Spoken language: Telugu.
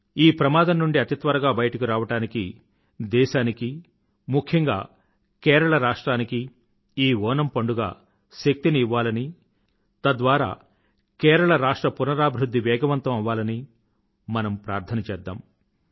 ఈ ప్రమాదం నుండి అతి త్వరగా బయటకు రావడానికి దేశానికీ ముఖ్యంగా కేరళ రాష్ట్రానికీ ఈ ఓణమ్ పండుగ శక్తిని ఇవ్వాలని తద్వారా కేరళ రాష్ట్ర పునరాభివృధ్ధి వేగవంతం అవ్వాలని మనం ప్రార్థన చేద్దాం